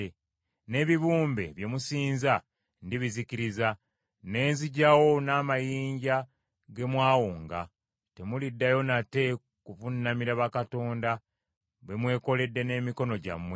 N’ebibumbe bye musinza ndibizikiriza. Ne nziggyawo n’amayinja ge mwawonga; temuliddayo nate kuvuunamira bakatonda be mwekoledde n’emikono gyammwe.